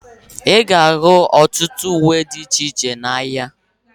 Ịga ahu ọtụtụ uwe dị iche iche n'ahia